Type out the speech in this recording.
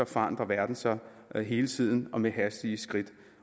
forandrer verden sig hele tiden og med hastige skridt